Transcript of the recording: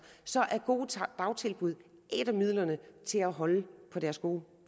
er gode dagtilbud et af midlerne til at holde på deres gode